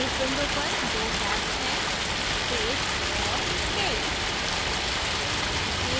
इस window पर दो tabs हैंपेज और scale